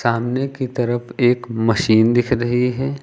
सामने की तरफ एक मशीन दिख रही है।